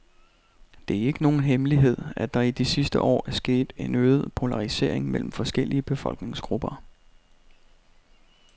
Det er ikke nogen hemmelighed, at der i de sidste år er sket en øget polarisering mellem forskellige befolkningsgrupper.